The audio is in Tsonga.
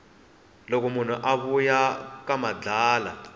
loko munhu a vuya ka madlala